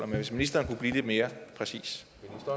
ministeren blive lidt mere præcis